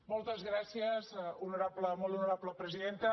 moltes gràcies molt honorable presidenta